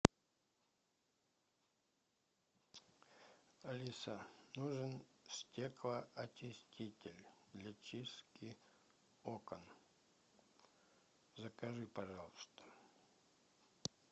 алиса нужен стеклоочиститель для чистки окон закажи пожалуйста